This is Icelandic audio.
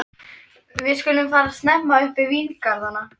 Við skulum fara snemma upp í víngarðana.